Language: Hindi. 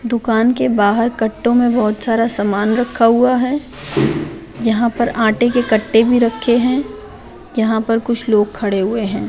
दुकान के बाहर कट्टों मे बहुत सारा समान रखा हुआ है यहाँ पर आते के कट्टे भी रखे है यहाँ पर कुछ लोग खड़े हुए है।